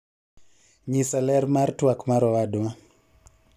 nyisa ler mar twak mar owadwa